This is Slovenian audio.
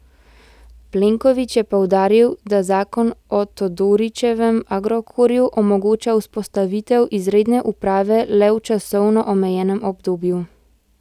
Plenković je poudaril, da zakon o Todorićevem Agrokorju omogoča vzpostavitev izredne uprave le v časovno omejenem obdobju.